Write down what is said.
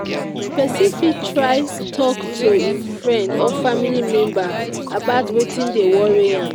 Pesin fit try talk to hin friend or family member about weti dey worry am.